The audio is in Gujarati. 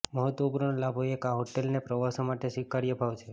મહત્વપૂર્ણ લાભો એક આ હોટેલને પ્રવાસો માટે સ્વીકાર્ય ભાવ છે